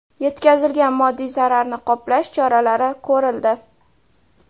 Yetkazilgan moddiy zararni qoplash choralari ko‘rildi.